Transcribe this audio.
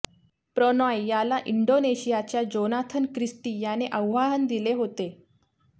प्रणॉय याला इंडोनेशियाच्या Jonathan Christie याने आव्हान दिले होते